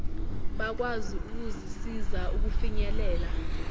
bakwazi ukuzisiza ukufinyelela